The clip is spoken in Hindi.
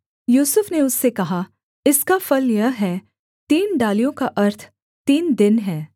यूसुफ ने उससे कहा इसका फल यह है तीन डालियों का अर्थ तीन दिन हैं